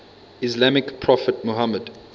islamic prophet muhammad